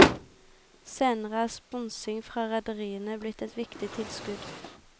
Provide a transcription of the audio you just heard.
Senere er sponsing fra rederiene blitt et viktig tilskudd.